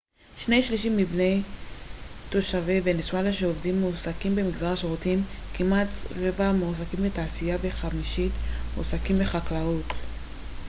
שני שלישים מבין תושבי ונצואלה שעובדים מועסקים במגזר השירותים כמעט רבע מועסקים בתעשייה וחמישית מועסקים בחקלאות